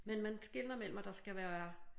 Men man skelner mellem at der skal være